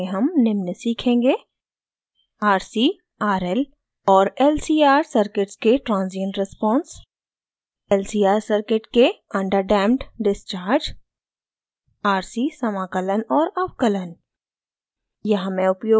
इस tutorial में हम निम्न सीखेंगे: